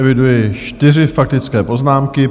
Eviduji čtyři faktické poznámky.